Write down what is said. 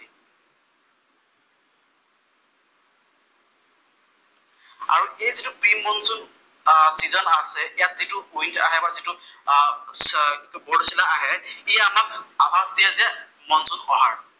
আৰু এই যিটো প্ৰি মনচুন চিজন আছে ইয়াত যিটো উইণ্ড আহে বা যিটো বৰদৈচিলা আহে, ই আমাক আভাস দিয়ে যে মনচুন অহাৰ।